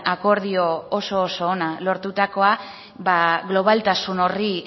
akordio oso ona lortutakoa globaltasun horri